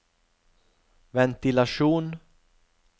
ventilasjon